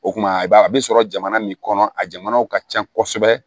O kuma i b'a a bɛ sɔrɔ jamana min kɔnɔ a jamanaw ka ca kosɛbɛ